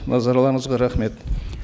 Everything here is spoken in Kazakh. назарларыңызға рахмет